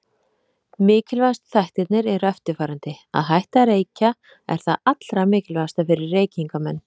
Mikilvægustu þættirnir eru eftirfarandi: Að hætta að reykja er það allra mikilvægasta fyrir reykingamenn.